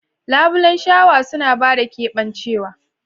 Labulen shawa suna ba da keɓancewa.